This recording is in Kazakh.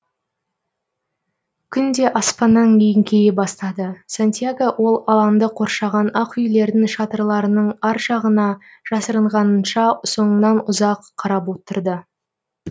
күн де аспаннан еңкейе бастады сантьяго ол алаңды қоршаған ақ үйлердің шатырларының ар жағына жасырынғанынша соңынан ұзақ қарап отырды